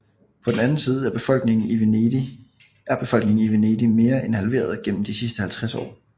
På den anden side er befolkningen i Venedig mere end halveret gennem de sidste 50 år